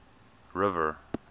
river